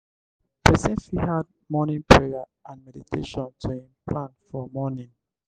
person fit add morning prayer and meditation to im plan for morning